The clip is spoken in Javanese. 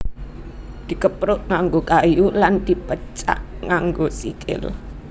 Dikepruk nganggo kayu lan dipecak nganggo sikil